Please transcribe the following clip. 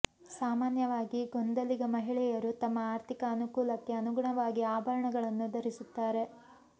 ಸಾಮಾನ್ಯವಾಗಿ ಗೊಂದಲಿಗ ಮಹಿಳೆಯರು ತಮ್ಮ ಆರ್ಥಿಕ ಅನುಕೂಲಕ್ಕೆ ಅನುಗುಣವಾಗಿ ಆಭರಣಗಳನ್ನು ಧರಿಸುತ್ತಾರೆ